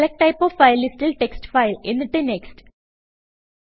select type of file listൽ text file എന്നിട്ട് next